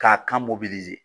K'a kan .